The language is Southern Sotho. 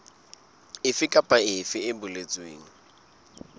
efe kapa efe e boletsweng